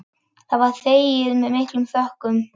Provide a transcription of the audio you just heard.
Það var þegið með miklum þökkum.